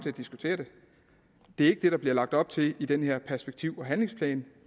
at diskutere det det er ikke det der bliver lagt op til i den her perspektiv og handlingsplanen